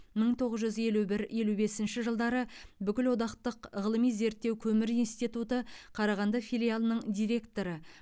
мың тоғыз жүз елу бір елу бесінші жылдары бүкілодақтық ғылыми зерттеу көмір институты қарағанды филиалының директоры